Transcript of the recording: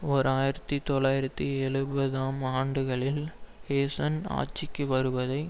ஓர் ஆயிரத்தி தொள்ளாயிரத்து எழுபதுஆம் ஆண்டுகளில் ஹூசேன் ஆட்சிக்கு வருவதை